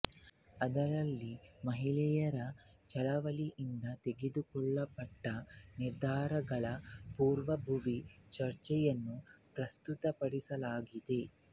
ಅದರಲ್ಲಿ ಮಹಿಳೆಯರ ಚಳವಳಿಯಿಂದ ತೆಗೆದುಕೊಳ್ಳಲ್ಪಟ್ಟ ನಿರ್ಧಾರಗಳ ಪೂರ್ವಭಾವಿ ಚರ್ಚೆಯನ್ನು ಪ್ರಸ್ತುತಪಡಿಸಲಾಗಿದೆ